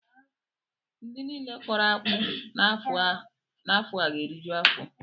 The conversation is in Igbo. Ndị niile kọrọ akpụ n'afọ a ga-eriju afọ